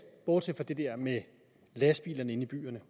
bortset fra det der med lastbilerne inde i byerne